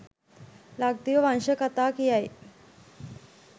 ලක්දිව වංශ කතා කියයි.